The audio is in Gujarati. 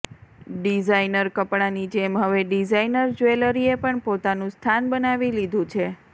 ડિઝાઇનર કપડાંની જેમ હવે ડિઝાઇનર જ્વેલરીએ પણ પોતાનુ સ્થાન બનાવી લીધુ છે